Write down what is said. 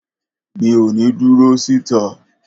Mi ò ní dúró síta